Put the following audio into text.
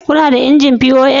Kuna da injin pos?